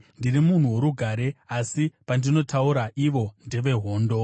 Ndiri munhu worugare; asi pandinotaura, ivo ndevehondo.